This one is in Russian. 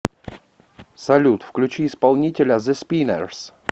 салют включи исполнителя зэ спиннерс